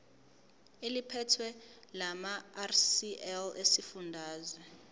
eliphethe lamarcl esifundazwe